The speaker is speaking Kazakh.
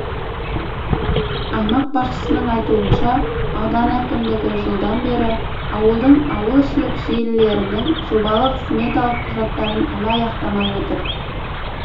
аймақ басшысының айтуынша аудан әкімдігі жылдан бері ауылдың ауылішілік желілерінің жобалық сметалық құжаттарын әлі аяқтамай отыр